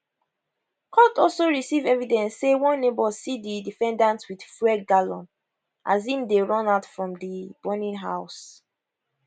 court also receive evidence say one neighbour see di defendant with fuel gallon as im dey run out from di burning house